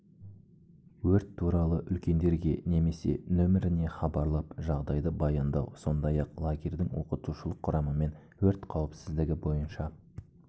өрт туралы үлкендерге немесе нөміріне хабарлап жағдайды баяндау сондай-ақ лагердің оқытушылық құрамымен өрт қауіпсіздігі бойынша